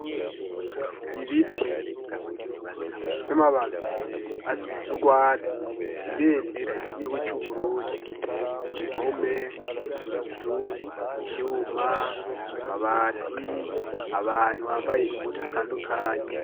Ibiti vy'amababi asa nurwatsi. Ibendera ryigihugu cu Burundi impome, inzu ,ivyuma ,amabati .Abantu bambaye impuzu zitandukanye.